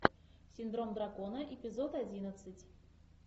синдром дракона эпизод одиннадцать